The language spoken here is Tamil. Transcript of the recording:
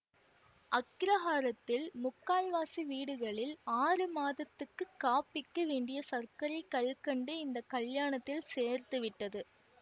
அக்கிரகாரத்தில் முக்கால்வாசி வீடுகளில் ஆறு மாதத்துக்குக் காப்பிக்கு வேண்டிய சர்க்கரை கல்கண்டு இந்த கல்யாணத்தில் சேர்த்துவிட்டது